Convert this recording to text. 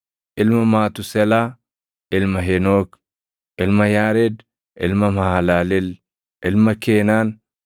ilma Matuuselaa, ilma Henook, ilma Yaared, ilma Mahalaleel, ilma Keenaan,